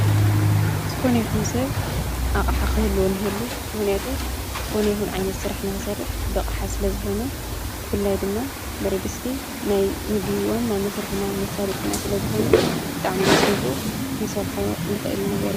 ዝኾነ ይኹን ሰብ ኣሓ ኽህልወን የሉ ምህንያቱ ዝኾነ ይኹን ዓይነት ዝሠራሕ ንኽሰርሕ በቕሓ ስለ ዝኾነ ብፍላይ ድማ በረድስቲ ናይ ምግወን ናብ መሥርኂና ምሳድጢና ስለ ዝኾነ ጣዕሚየ ዝፈቶ ክንሠርሖ ንኽእል ነገር።